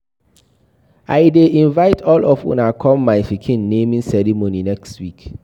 I dey invite all of una come my pikin naming ceremony next week